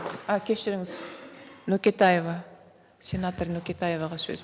а кешіріңіз нүкетаева сенатор нүкетаеваға сөз